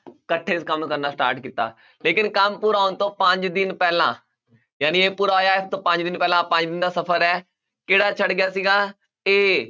ਇਕੱਠੇ ਕੰਮ ਕਰਨਾ start ਕੀਤਾ, ਲੇਕਿੰਨ ਕੰਮ ਪੂਰਾ ਹੋਣ ਤੋਂ ਪੰਜ ਦਿਨ ਪਹਿਲਾਂ ਜਾਣੀ ਇਹ ਪੂਰਾ ਹੋਇਆ, ਇਸਤੋਂ ਪੰਜ ਦਿਨ ਪਹਿਲਾਂ ਪੰਜ ਦਿਨ ਦਾ ਸਫ਼ਰ ਹੈ, ਕਿਹੜਾ ਛੱਡ ਗਿਆ ਸੀਗਾ a